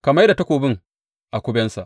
Ka mai da takobi a kubensa.